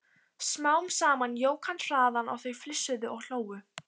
Smám saman jók hann hraðann og þau flissuðu og hlógu.